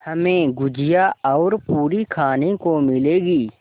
हमें गुझिया और पूरी खाने को मिलेंगी